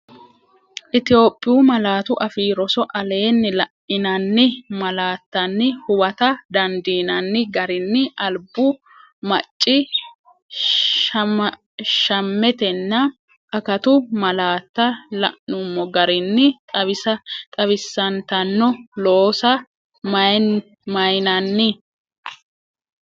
Itophiyu Malaatu Afii Roso Aleenni la’inanni malaattanni huwata dandiinanni garinni albu, maccii shshammetenna akatu malaatta la’nummo garinni xawisantanno, loosa mayinanni?